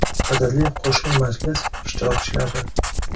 Qadrli qo‘shma majlis ishtirokchilari!